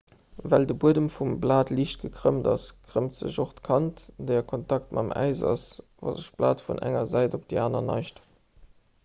well de buedem vum blat liicht gekrëmmt ass krëmmt sech och d'kant déi a kontakt mam äis ass wa sech d'blat vun enger säit op déi aner neigt